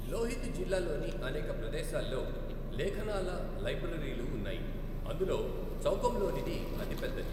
లోహిత్ జిల్లాలోని అనేక ప్రదేశాల్లో లేఖనాల లైబ్రరీలు ఉన్నాయి, అందులో చౌకమ్లోనిది అతిపెద్దది.